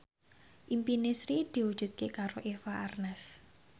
impine Sri diwujudke karo Eva Arnaz